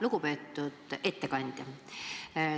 Lugupeetud ettekandja!